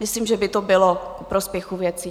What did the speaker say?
Myslím, že by to bylo ku prospěchu věci.